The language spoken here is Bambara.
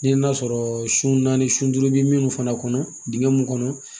Ni ye n'a sɔrɔ su naani sun duuru bɛ minnu fana kɔnɔ dingɛ mun kɔnɔ